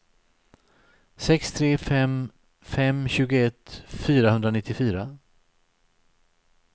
sex tre fem fem tjugoett fyrahundranittiofyra